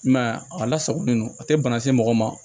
I m'a ye a lasagolen don a tɛ bana se mɔgɔ ma